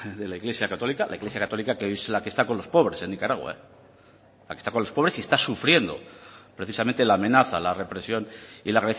de la iglesia católica la iglesia católica que hoy es la que está con los pobres en nicaragua la que está con los pobres y está sufriendo precisamente la amenaza la represión y la